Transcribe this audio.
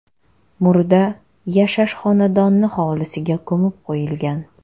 Murda yashash xonadoni hovlisiga ko‘mib qo‘yilgan.